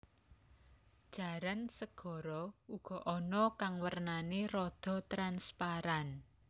Jaran segara uga ana kang wernané rada transparan